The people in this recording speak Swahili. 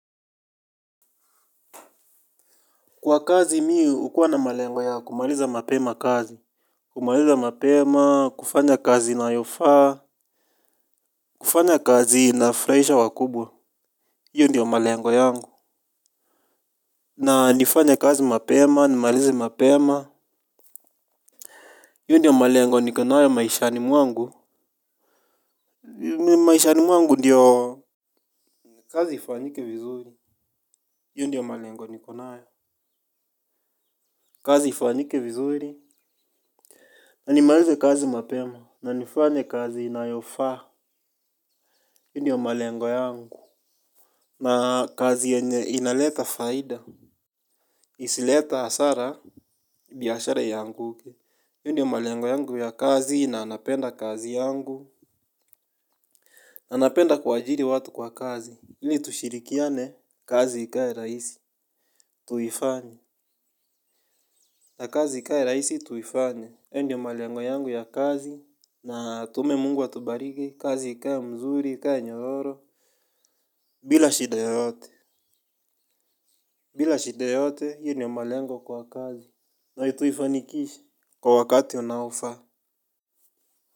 Kwa kazi mi ukua na malengo ya kumaliza mapema kazi. Kumaliza mapema kufanya kazi inayofaa. Kufanya kazi inafraisha wakubwa iyo ndiyo malengo yangu. Na nifanye kazi mapema nimalize mapema iyo ndiyo malengo niko nayo maishani mwangu. Maishani mwangu ndiyo kazi ifanyike vizuri iyo ndiyo malengo niko nayo kazi ifanyike vizuri na nimalize kazi mapema na nifanye kazi inayofaa iyo ndiyo malengo yangu na kazi yenye inaleta faida. Isileta hasara biashara ianguke iYo ndiyo malengo yangu ya kazi na napenda kazi yangu na napenda kuajiri watu kwa kazi ili tushirikiane kazi ikae raisi. Tuifanye. Na kazi ikae raisi tuifanye iYo ndiyo malengo yangu ya kazi. Na atume mungu atubariki kazi ikae mzuri ikae nyororo. Bila shida yoyote. Bila shida yoyote hii ndiyo malengo kwa kazi. Na tuifanikishe kwa wakati unaofaa.